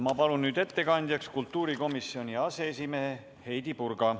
Ma palun nüüd ettekandjaks kultuurikomisjoni aseesimehe Heidy Purga.